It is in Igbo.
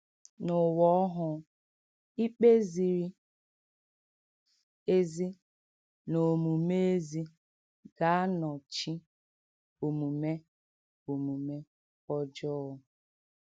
N’ụwa ọhụụ, ikpe ziri ezi na omume ezi ga-anọchi omume omume ọjọọ.